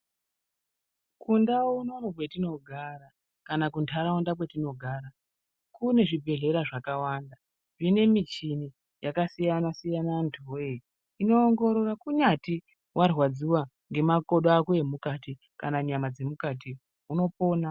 Kundau unono kwetinogara ,kana kunharaunda kwetinogara kune zvibhehlera zvakawanda zvine michini yakasiyana siyana anhuweee inoongoorora kunyati warwadziwa ngemakodo ako emukati kana nyama dzemukati ,unopona.